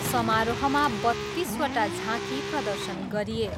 समारोहमा बत्तिसवटा झाँकी प्रदर्शन गरिए।